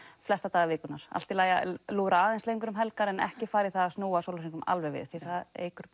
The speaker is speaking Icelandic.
flesta daga vikunnar allt í lagi að lúra aðeins lengur um helgar en ekki fara í það að snúa sólarhringnum alveg við því það eykur